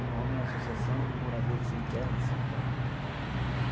O nome é Associação de Moradores Sem Terra de São Paulo.